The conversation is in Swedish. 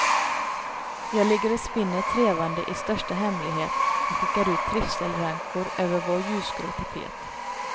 Jag ligger och spinner trevnad i största hemlighet och skickar ut trivselrankor över vår ljusgrå tapet.